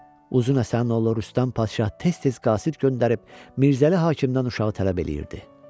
Uzun Həsənin oğlu Rüstəm padşah tez-tez qasid göndərib Mirzəli hakimdən uşağı tələb eləyirdi.